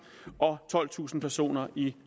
og tolvtusind personer i